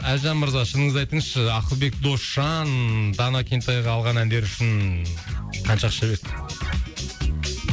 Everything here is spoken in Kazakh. әлжан мырза шыныңызды айтыңызшы ақылбек досжан дана кентайға алған әндері үшін қанша ақша берді